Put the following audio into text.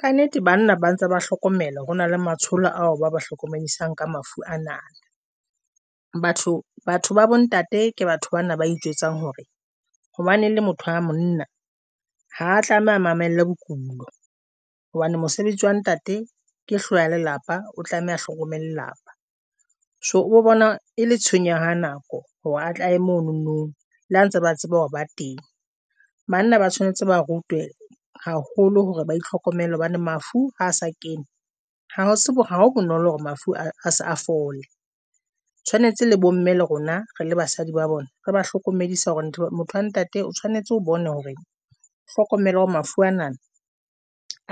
Kannete banna ba ntse ba hlokomela hore na le matsholo ao ba ba hlokomedisang ka mafu ana. Batho ba bontate ke batho bana ba ijwetsang hore hobane e le motho wa monna ha tlameha mamelle bokulo hobane mosebetsi wa ntate ke hloho ya lelapa, o tlameha hlokomele lelapa so o bona e le tshenyo ya nako hore a tle aye mononong le ha ntse ba tseba hore bateng banna ba tshwanetse ba rutwe haholo hore ba itlhokomele hobane mafu ha se kene. Ha o tsebe hore ha bonolo hore mafu a se a fole. Tshwanetse le bomme le rona re le basadi ba bona re ba hlokomedisa hore motho a ntate o tshwanetse o bone hore o hlokomele hore mafu ana